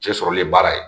Cɛ sɔrɔli le baara ye